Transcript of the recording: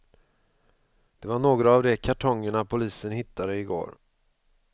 Det var några av de kartongerna polisen hittade i går.